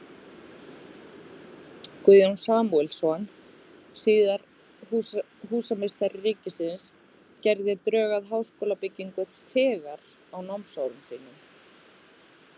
Guðjón Samúelsson, síðar húsameistari ríkisins, gerði drög að háskólabyggingu þegar á námsárum sínum.